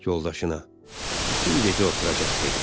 Yoldaşına, bütün gecə oturacaq dedi.